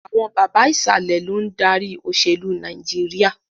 Àwọn bàbà Ìsàlẹ̀ lòun dárí òṣèlú Nàìjíríà